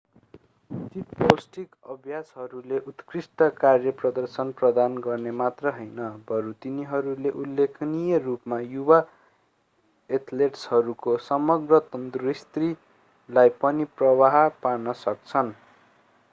उचित पौष्टिक अभ्यासहरूले उत्कृष्ट कार्यप्रदर्शन प्रदान गर्न मात्र हैन बरू तिनीहरूले उल्लेखनीय रूपमा युवा एथलेटहरूको समग्र तन्दुरुस्तीलाई पनि प्रभाव पार्न सक्छन्